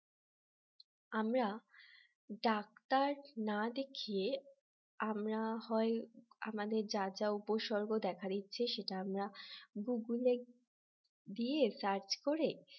আমরা ডাক্তার না দেখিয়ে আমরা হয় আমাদের যা যা উপসর্গ দেখা দিচ্ছে সেটা আমরা Google দিয়ে search করে